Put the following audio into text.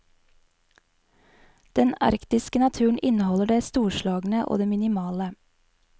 Den arktiske naturen inneholder det storslagne og det minimale.